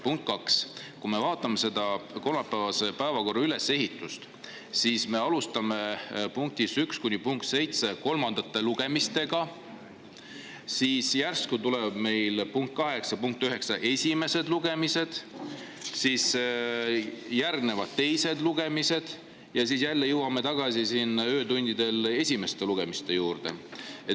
Punkt kaks, kui me vaatame seda kolmapäevase päevakorra ülesehitust, siis me alustame punktides 1–7 kolmandate lugemistega, siis järsku tulevad meil punkt 8 ja punkt 9 esimesed lugemised, siis järgnevad teised lugemised ja siis jälle jõuame tagasi siin öötundidel esimeste lugemiste juurde.